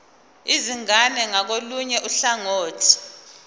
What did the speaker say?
izingane ngakolunye uhlangothi